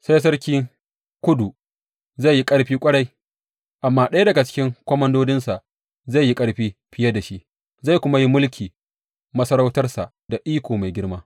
Sai sarki Kudu zai yi ƙarfi ƙwarai, amma ɗaya daga cikin komandodinsa zai yi ƙarfi fiye da shi, zai kuma yi mulki masarautarsa da iko mai girma.